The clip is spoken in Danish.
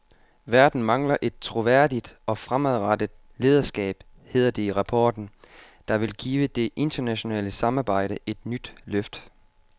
Verden mangler et troværdigt og fremadrettet lederskab, hedder det i rapporten, der vil give det internationale samarbejde et nyt løft.